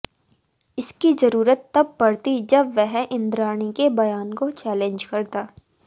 इसकी जरूरत तब पड़ती जब वह इंद्राणी के बयान को चैलेंज करता